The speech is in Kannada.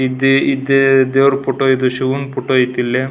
ಇದ್ ಇದ್ ದೇವ್ರ್ ಫೋಟೋ ಇದ್ ಶಿವನ್ಡ್ ಐತ್ ಇಲ್.